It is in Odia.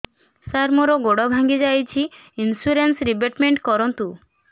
ସାର ମୋର ଗୋଡ ଭାଙ୍ଗି ଯାଇଛି ଇନ୍ସୁରେନ୍ସ ରିବେଟମେଣ୍ଟ କରୁନ୍ତୁ